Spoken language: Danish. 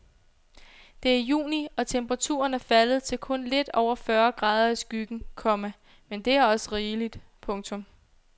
Det er juni og temperaturen er faldet til kun lidt over fyrre grader i skyggen, komma men det er også rigeligt. punktum